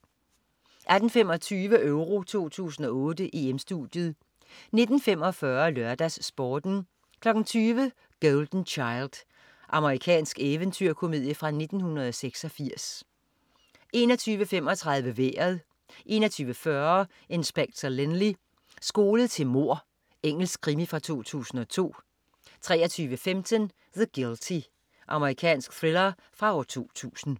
18.25 EURO 2008: EM-Studiet 19.45 LørdagsSporten 20.00 Golden Child. Amerikansk eventyrkomedie fra 1986 21.35 Vejret 21.40 Inspector Lynley. Skolet til mord. Engelsk krimi fra 2002 23.15 The Guilty. Amerikansk thriller fra 2000